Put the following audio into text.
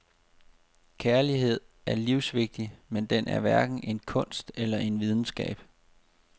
Kærlighed er livsvigtig, men den er hverken en kunst eller en videnskab.